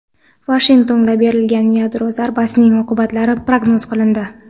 Vashingtonga beriladigan yadro zarbasining oqibatlari prognoz qilindi.